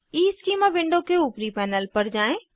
schema window के ऊपरी panel पर जाएँ